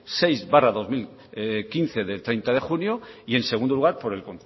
seis barra dos mil quince de treinta de junio y en segundo lugar por el